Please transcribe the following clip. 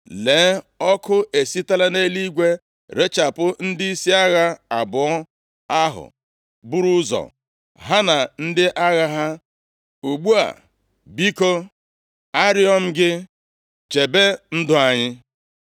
Lee, ọkụ esitela nʼeluigwe rechapụ ndịisi agha abụọ ahụ buru ụzọ, ha na ndị agha ha. Ugbu a, biko, arịọ m gị, chebe ndụ anyị.”